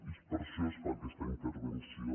i per això es fa aquesta intervenció